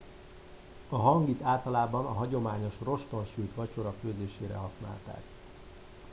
a hangit általában a hagyományos roston sült vacsora főzésére használták